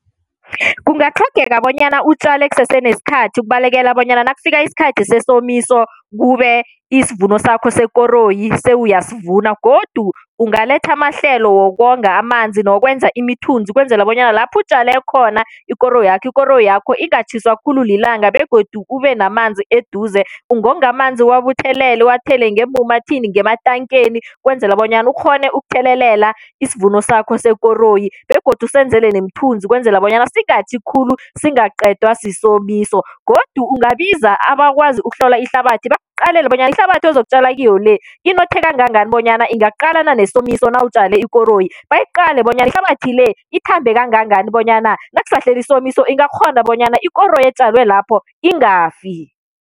Kungatlhogeka bonyana utjale kusese nesikhathi, ukubalekela bonyana nakufika isikhathi sesomiso kube isivuno sakho sekoroyi sewuyasivuna. Godu ungaletha amahlelo wokonga amanzi nokwenza imithunzi, ukwenzela bonyana lapha utjale khona ikoroyakho, ikoroyakho ingatjhiswa khulu lilanga, begodu kube namanzi eduze. Ungonga amanzi uwabuthelele uwathele ngeemumathini, ngematankeni ukwenzela bonyana ukghone ukuthelelela isivuno sakho sekoroyi, begodu usenzele nemithunzi ukwenzela bonyana singatjhi khulu singaqedwa sisomiso. Godu ungabiza abakwazi ukuhlola ihlabathi, bakuqalele bonyana ihlabathi ozokutjala kiyo le, inothe kangangani bonyana ingaqalana nesomiso nawutjale ikoroyi. Bayiqale bonyana ihlabathi le ithambe kangangani, bonyana nakusahlele isomiso ingakghona bonyana ikoroyi etjalwe lapho ingafi.